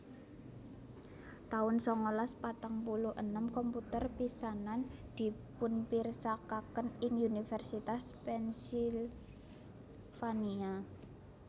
taun sangalas patang puluh enem komputer pisanan dipunpirsakaken ing Univèrsitas Pennsylvania